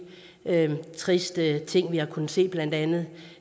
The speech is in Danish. triste ting vi har kunnet se blandt andet